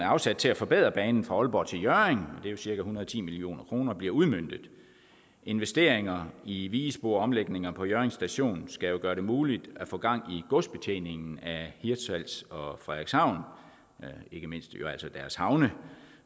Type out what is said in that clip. afsat til at forbedre banen fra aalborg til hjørring det er cirka en hundrede og ti million kroner bliver udmøntet investeringer i vigespor og omlægninger på hjørring station skal gøre det muligt at få gang i godsbetjeningen af hirtshals og frederikshavn ikke mindst deres havne